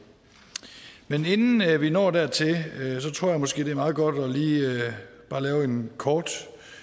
men inden vi når dertil tror jeg måske det er meget godt lige at lave en kort